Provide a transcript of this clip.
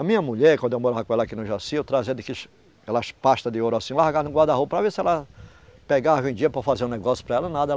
A minha mulher, quando eu morava com ela aqui no Jaci, eu trazia aquelas pasta de ouro assim, eu largava no guarda-roupa para ver se ela pegava, vendia para fazer um negócio para ela, nada.